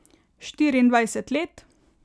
Štiriindvajset let.